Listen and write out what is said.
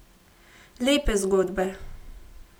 Lepe zgodbe!